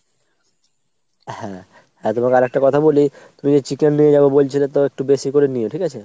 হ্যাঁ, হ্যাঁ তোমাকে আর একটা কথা বলি তুমি যে chicken নিয়ে যাবে বলছিলে তো একটু বেশি করে নিও ঠিক আছে ?